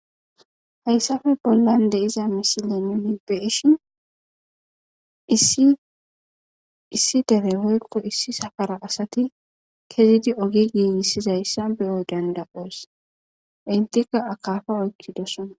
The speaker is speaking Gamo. Hayssappe bollara de'za mishsha nu be'shshen isi dere woyikko issi safara asati ke'eidi ogge gigissidaysa be'o dandda'os ettikka akappa oyikidosona.